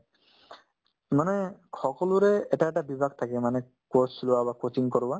মানে সকলোৰে এটা এটা বিভাগ থাকে মানে sports লোৱা বা coaching কৰোৱা